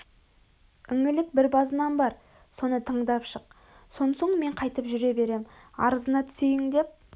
інілік бір базынам бар соны тыңдап шық сон соң мен қайтып жүре берем арызыңа түсейін деп